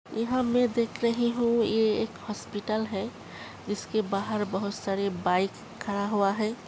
यहाँ मैं देख रही हूं यह एक अस्पताल है इसके बाहर बहुत सारे बाइक खड़ा हुआ है।